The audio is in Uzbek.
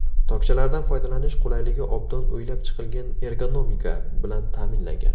Tokchalardan foydalanish qulayligi obdon o‘ylab chiqilgan ergonomika bilan ta’minlangan.